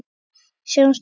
Við sjáumst á ný.